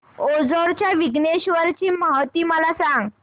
ओझर च्या विघ्नेश्वर ची महती मला सांग